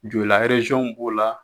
Joyila b'o la